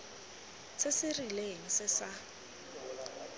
se se rileng se sa